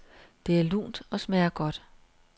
Det er lunt og smager godt.